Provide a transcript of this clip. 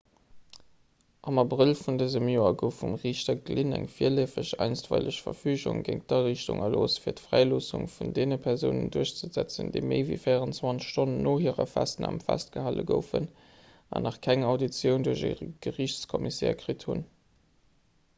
am abrëll vun dësem joer gouf vum riichter glynn eng virleefeg einstweileg verfügung géint d'ariichtung erlooss fir d'fräiloossung vun deene persounen duerchzesetzen déi méi ewéi 24 stonnen no hirer festnam festgehale goufen an nach keng auditioun duerch e geriichtscommissaire kritt hunn